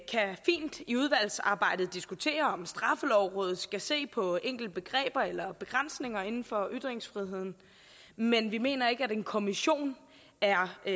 fint i udvalgsarbejdet diskutere om straffelovrådet skal se på enkelte begreber eller begrænsninger inden for ytringsfriheden men vi mener ikke at en kommission er det